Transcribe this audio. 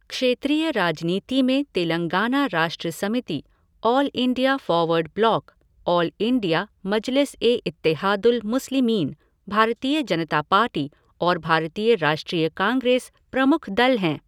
क्षेत्रीय राजनीति में Telangana Rashtra Samiti, all India forward bloc, all India Majlis e Ittehadul Muslimeen, Bharatiya Janata party और भारतीय राष्ट्रीय कांग्रेस प्रमुख दल हैं।